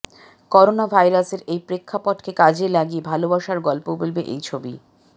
corona ভাইরাসের এই প্রেক্ষাপটকে কাজে লাগিয়ে ভালবাসার গল্প বলবে এই ছবি